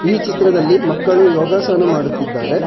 ಈ ಚಿತ್ರದಲ್ಲಿ ಮಕ್ಕಳು ಯೋಗಾಸನ ಮಾಡುತ್ತಿದ್ದಾರೆ.